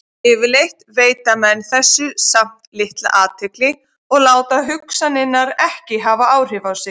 Yfirleitt veita menn þessu samt litla athygli og láta hugsanirnar ekki hafa áhrif á sig.